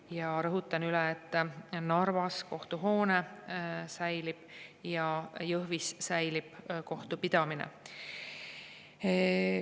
Ja rõhutan üle, et Narvas kohtuhoone säilib ja Jõhvis säilib kohtupidamine.